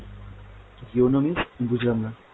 yono means বুঝলামনা।